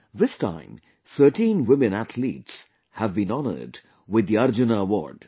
This time 13 women athletes have been honored with the Arjuna Award